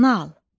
Nal.